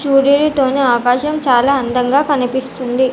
సూర్యుడు తోని ఆకాశం చాలా అందంగా కనిపిస్తుంది.